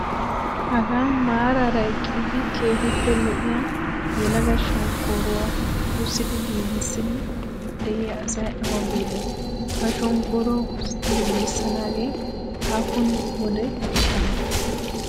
Hagaa maaraara eqidi keehippe lo'iyaa yelaga shonkkooruwaa husidi giigissiddi de'iyaa asay awa biide? Ha shonkkooruwaa husidi gigissanaage aappun wode ekkanee?